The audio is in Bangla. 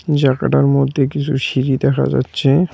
জাগাটার মধ্যে কিছু সিঁড়ি দেখা যাচ্ছে।